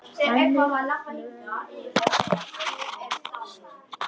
Þannig fjölgar það sér ekki.